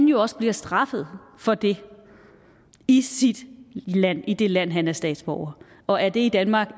jo også bliver straffet for det i sit land i det land han er statsborger og er det i danmark